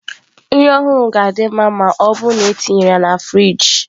Nri ọhụrụ ga-adị mma ma ọ bụrụ na etinyere ya na friji.